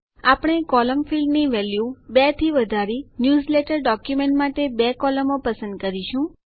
આપણે column field ની value 2 થી વધારી ન્યૂઝલેટર ડોક્યુમેન્ટ માટે બે કોલમો પસંદ કરીશું